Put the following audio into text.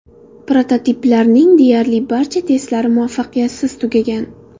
Prototiplarning deyarli barcha testlari muvaffaqiyatsiz tugagan.